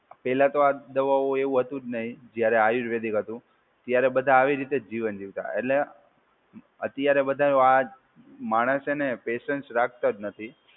પહેલા તો આ દવાઓ એવું હતું જ નહીં જ્યારે આયુર્વેદિ ક હતું. ત્યારે બધાં આવી રીતે જ જીવન જીવતા. એટલે અત્યારે બધાં આજ માણસ છે ને એ પેશન્સ રાખતા જ નથી.